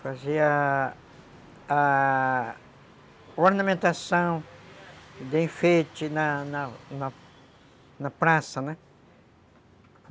Fazia a... ornamentação de enfeite na na praça, né?